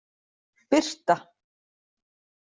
Birta